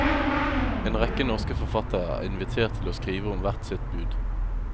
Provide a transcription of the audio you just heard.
En rekke norske forfattere er invitert til å skrive om hvert sitt bud.